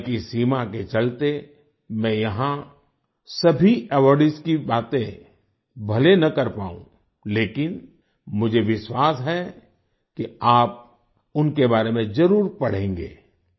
समय की सीमा के चलते मैं यहाँ सभी अवार्डीज की बातें भले न कर पाऊं लेकिन मुझे विश्वास है कि आप उनके बारे में जरुर पढ़ेंगे